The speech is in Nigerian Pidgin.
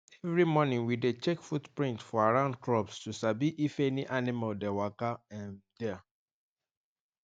every morning we dey check footprint for around crops to sabi if any animal dey waka um there